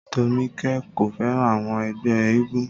Tómikẹ́ kò fẹ́ràn àwọn ẹgbẹ́ éégún